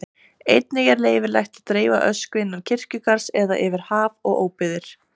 Einnig er leyfilegt að dreifa ösku innan kirkjugarðs eða yfir haf og óbyggðir.